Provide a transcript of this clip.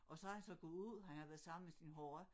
Og så havde han så gået ud han havde været samme med sin horra